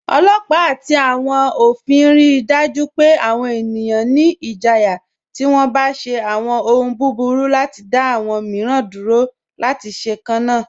Ọlọpa ati awọn ofin rí daju pẹ̀ awọn ènìyàn ní ìjìyà tí wọ́n bá ṣe awọn òhùn búburú, láti dá awọn míìran dúró láti ṣe kanna.